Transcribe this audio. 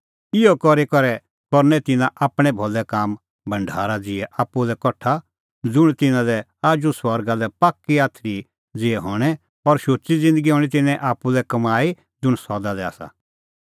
इहअ करी करै करनै तिन्नां आपणैं भलै काम भढारा ज़िहै आप्पू लै कठा ज़ुंण तिन्नां लै आजू स्वर्गा लै पाक्की आथरी ज़िहै हणैं और शुची ज़िन्दगी हणीं तिन्नें आप्पू लै कमाई ज़ुंण सदा लै आसा